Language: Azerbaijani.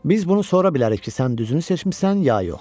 Biz bunu sonra bilərik ki, sən düzünü seçmisən ya yox.